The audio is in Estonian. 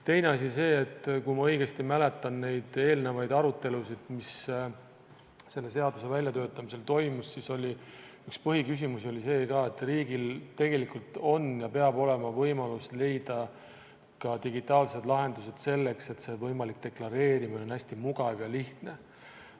Teine asi on see, et kui ma õigesti mäletan neid eelnevaid arutelusid, mis selle seaduse väljatöötamisel toimusid, siis oli üks põhiküsimusi see ka, et riigil tegelikult on ja peab olema võimalus leida ka digitaalsed lahendused selleks, et see võimalik deklareerimine oleks hästi mugav ja lihtne.